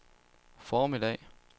formiddag